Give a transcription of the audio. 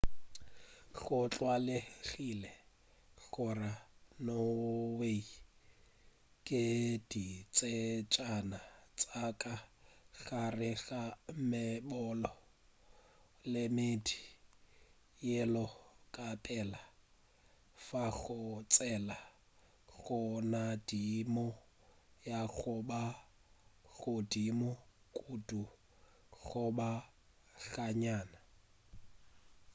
go tlwaelegile go la norway ke ditsejana tša ka gare ga meboto le meedi yeo ka pela e fago tsela go nagadimo ya go ba godimo kudu goba ga nnyane